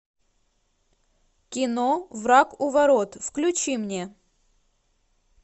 кино враг у ворот включи мне